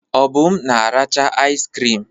Obum na-aracha iz krim.